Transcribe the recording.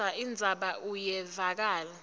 kodvwa indzaba iyevakala